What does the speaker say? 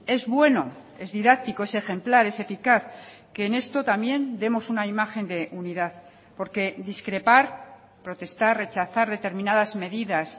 es bueno es didáctico es ejemplar es eficaz que en esto también demos una imagen de unidad porque discrepar protestar rechazar determinadas medidas